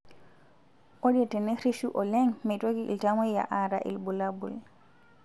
Ore tenerishu oleng meitoki iltamoyia aata irbulabol